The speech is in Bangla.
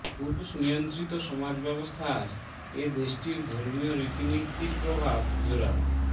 পুরুষ নিয়ন্ত্রিত সমাজ ব্যবস্থার এ দেশটির ধর্মীয় রীতিনীতির প্রভাব জোরালো